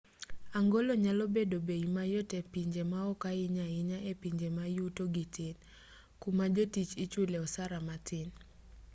angolo nyalo bedo bei mayot e pije maoko ahinya ahinya e pinje ma yutogi tin kuma jotich ichule osara matin